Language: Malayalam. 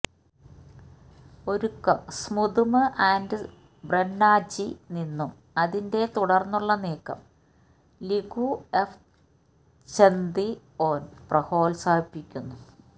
ഒരുക്കം സ്പുതുമ് ആൻഡ് ബ്രൊന്ഛി നിന്നും അതിന്റെ തുടർന്നുള്ള നീക്കം ലികുഎഫച്തിഒന് പ്രോത്സാഹിപ്പിക്കുന്ന